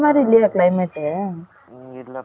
ம்ம் இல்ல பா சரியான வெயில்